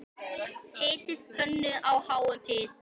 Hitið pönnu á háum hita.